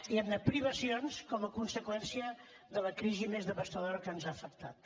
diguem ne privacions com a conseqüència de la crisi més devastadora que ens ha afectat